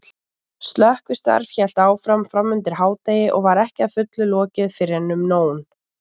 Slökkvistarf hélt áfram framundir hádegi og var ekki að fullu lokið fyrren um nón.